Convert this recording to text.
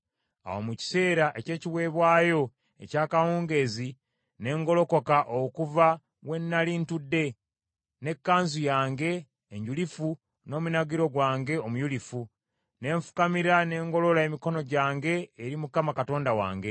Awo mu kiseera eky’ekiweebwayo eky’akawungeezi ne ngolokoka okuva we nnali ntudde, n’ekkanzu yange enjulifu n’omunagiro gwange omuyulifu, ne nfukamira ne ngolola emikono gyange eri Mukama Katonda wange,